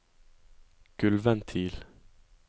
gulvventil